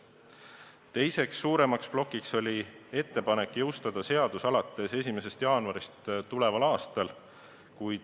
Teine suurem plokk oli ettepanek jõustada seadus alates 1. jaanuarist tuleval aastal.